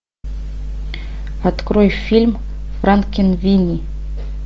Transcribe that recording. открой фильм франкенвини